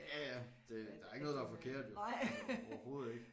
Ja ja det der ikke noget der er forkert jo altså overhovedet ikke